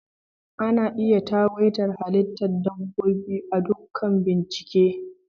Ana iya tagwaita halittar dabbobi a dakunan bincike